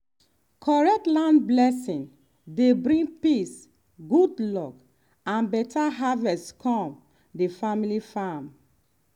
correct land blessing dey bring peace good luck and better harvest come the family farm